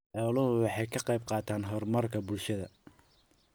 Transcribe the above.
Xooluhu waxay ka qaybqaataan horumarka bulshada.